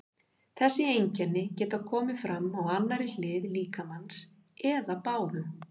Þessi einkenni geta komið fram á annarri hlið líkamans eða báðum.